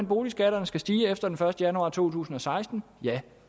boligskatterne skal stige efter den første januar to tusind og seksten